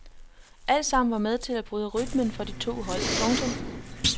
Altsammen var med til at bryde rytmen for de to hold. punktum